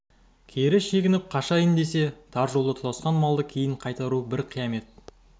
кері шегініп қашайын десе тар жолда тұтасқан малды кейін қайыру бір қиямет